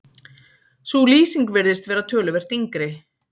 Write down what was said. sú lýsing virðist vera töluvert yngri